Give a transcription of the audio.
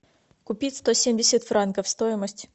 купить сто семьдесят франков стоимость